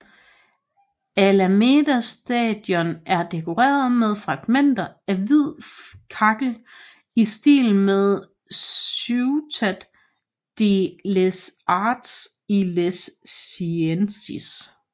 Alameda Station er dekoreret med fragmenter af hvid kakkel i stil med Ciutat de les Arts i les Ciències